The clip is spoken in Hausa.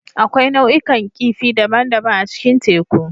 Akwai nau'ikan kifi daban-daban a cikin teku.